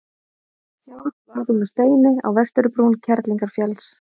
sjálf varð hún að steini á vesturbrún kerlingarfjalls